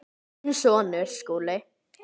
Þinn sonur, Skúli.